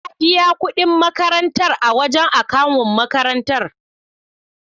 Na biya kudi makarantar a wajan akawun makarantar